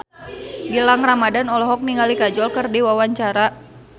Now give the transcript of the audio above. Gilang Ramadan olohok ningali Kajol keur diwawancara